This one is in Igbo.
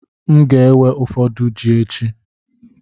M ga-ewe ụfọdụ ji echi.